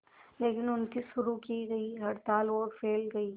लेकिन उनकी शुरू की गई हड़ताल और फैल गई